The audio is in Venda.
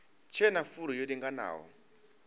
tshe na furu yo linganaho